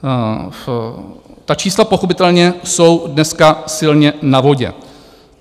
Ta čísla pochopitelně jsou dneska silně na vodě.